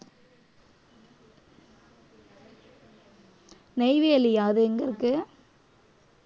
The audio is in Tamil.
நெய்வேலியா அது எங்க இருக்கு